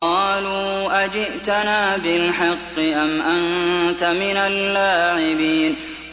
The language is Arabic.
قَالُوا أَجِئْتَنَا بِالْحَقِّ أَمْ أَنتَ مِنَ اللَّاعِبِينَ